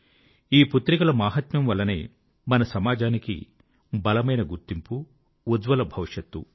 ఈ పుత్రికల మాహాత్మ్యం వల్లనే మన సమాజానికి బలమైన గుర్తింపు ఉజ్జ్వల భవిష్యత్తు